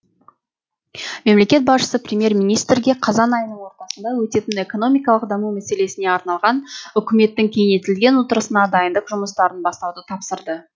мемлекет басшысы премьер министрге қазан айының ортасында өтетін экономикалық даму мәселесіне арналған үкіметтің кеңейтілген отырысына дайындық жұмыстарын бастауды тапсырды